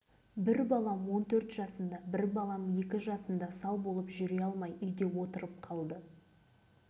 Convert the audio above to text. бой жетіп отбасы құрғаннан кейін туған жеріме қайтып оралдым алты балам бар өзім жаңа толдым бірақ